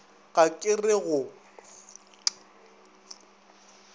ga ke re ke go